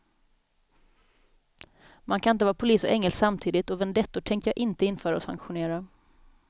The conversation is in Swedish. Man kan inte vara polis och ängel samtidigt och vendettor tänker jag inte införa och sanktionera.